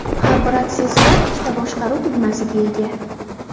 Har bir aksessuar ikkita boshqaruv tugmasiga ega.